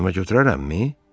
Boynuma götürərəmmi?